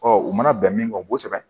Ɔ u mana bɛn min kɔ kosɛbɛ